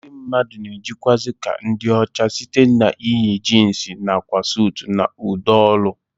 Ndị mmadụ na-ejikwazi ka ndị ọcha site n'iyi jins nakwa suut na ụdọ olu